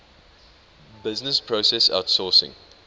business process outsourcing